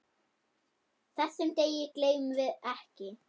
Þessum degi gleymum við ekki.